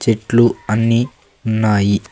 చెట్లు అన్నీ ఉన్నాయి.